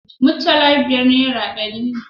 Mutala biyar nera ɗari ne